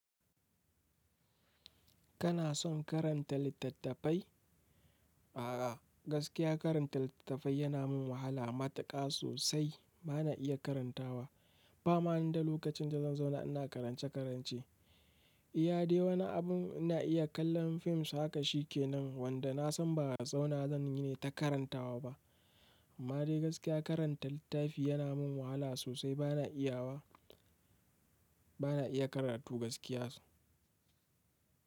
Kana son karanta littafai? A'a, gaskiya karanta littafai yana min wahala matuƙa sosai. Ba na iya karantawa ba. Ba ma ni da lokacin da zan zauna ina karance-karance. Iyade wani abin ina iya kallon fim sa ka shikenan wanda na san ba zauna zan yi nayi ta karantawa ba. Amma dai gaskiya karanta littafi yana min wahala sosai. Ba na iya wa, bana iya karatu gaskiya sosai.